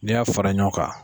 N'i y'a fara ɲɔgɔn kan.